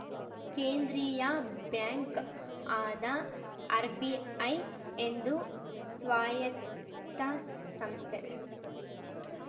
ಕೇಂದ್ರೀಯ ಬ್ಯಾಂಕ್‌ ಆದ ಆರ್‌ಬಿಐ ಎಂದು ಸ್ವಾಯತ್ತ ಸಂಸ್ಥೆ